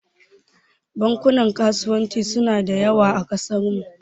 Bankunan kasuwanci suna da yawa a kasarmu.